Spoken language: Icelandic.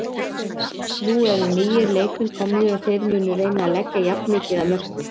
Nú eru nýir leikmenn komnir og þeir munu reyna að leggja jafn mikið af mörkum.